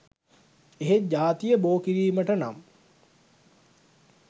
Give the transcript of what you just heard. එහෙත් ජාතිය බෝ කිරීමට නම්